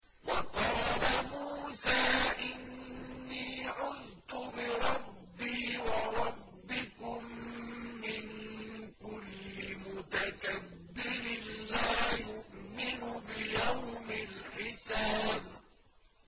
وَقَالَ مُوسَىٰ إِنِّي عُذْتُ بِرَبِّي وَرَبِّكُم مِّن كُلِّ مُتَكَبِّرٍ لَّا يُؤْمِنُ بِيَوْمِ الْحِسَابِ